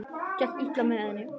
Gekk í lið með henni.